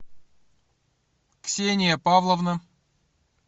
ксения павловна